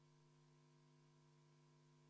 Palun võtta seisukoht ja hääletada!